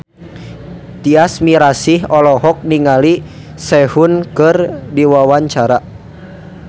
Tyas Mirasih olohok ningali Sehun keur diwawancara